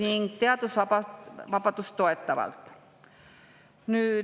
… ning teadusvabadust toetavalt.